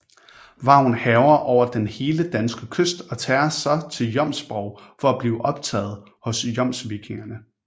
Vagn hærger over den hele danske kyst og tager så til Jomsborg for at blive optaget hos jomsvikingerne